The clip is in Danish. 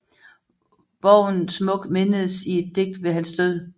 Borgen smukt mindedes i et digt ved hans død